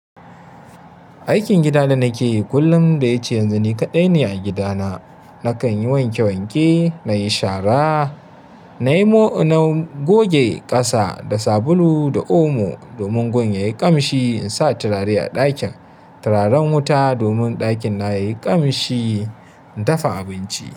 Aikin gida da nake yi kullum da yace yanzu ni kaɗai ne a gida na. Nakan yi wanke-wanke, nayi shara, na goge ƙasa da sabulu da omo domin gun yayi ƙamshi, in sa turare a ɗakin, turaren wuta domin ɗakin nawa yayi ƙamshi, in dafa abinci.